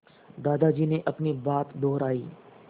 दादाजी ने अपनी बात दोहराई